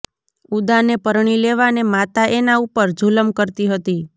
ઉદાને પરણી લેવાને માતા એના ઉપર જુલમ કરતી હતી